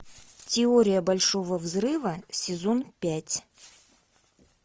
теория большого взрыва сезон пять